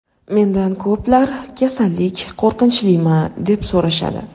Mendan ko‘plar kasallik qo‘rqinchlimi, deb so‘rashadi.